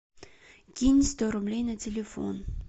кинь сто рублей на телефон